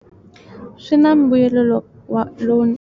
Swin'wa mbuyelo lo wa lowunene.